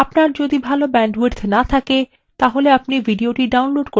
আপনার যদি ভাল bandwidth না থাকে আপনি এটি download করেও দেখতে পারেন